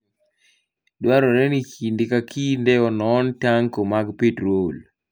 Dwarore ni kinde ka kinde onon tanko mag petrol.